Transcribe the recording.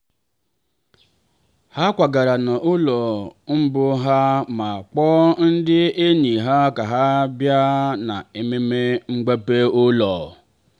ha kwagara n'ụlọ mbụ ha ma kpọọ ndị enyi ha ka ha bịa na ememme mgbape ụlọ